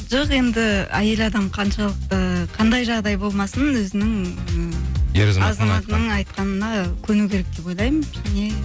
жоқ енді әйел адам қаншалықты қандай жағдай болмасын өзінің і айтқанына көну керек деп ойлаймын және